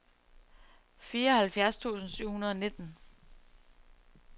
fireoghalvfjerds tusind syv hundrede og nitten